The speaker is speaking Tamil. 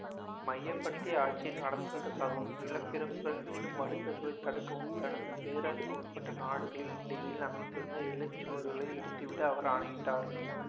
கிமு இருநூத்தி இருவத்தி ஒன்னாம் ஆண்டில் சின் ஷி ஷாங் எதிரி நாடுகள் அனைத்தையும் கைப்பற்றி சீனாவை ஒன்றிணைத்து சிங் வம்ச அரசை நிறுவினார்